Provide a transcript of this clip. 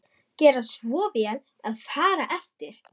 GERA SVO VEL AÐ FARA EFTIR